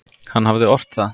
Hann hafði ort það.